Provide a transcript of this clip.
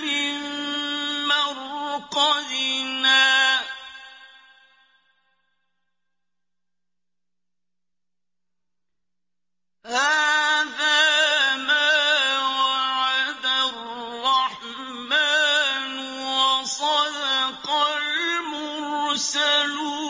مِن مَّرْقَدِنَا ۜۗ هَٰذَا مَا وَعَدَ الرَّحْمَٰنُ وَصَدَقَ الْمُرْسَلُونَ